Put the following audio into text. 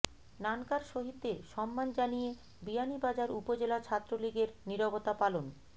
নানকার শহীদদের সম্মান জানিয়ে বিয়ানীবাজার উপজেলা ছাত্রলীগের নিরবতা পালন